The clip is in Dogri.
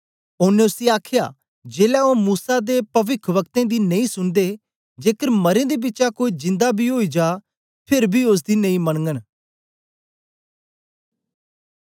ओनें उसी आखया जेलै ओ मूसा ते पविखवक्तें दी नेई सुनदे जेकर मरें दे बिचा कोई जिन्दा बी ओई जा फेर बी ओसदी नेई मनगन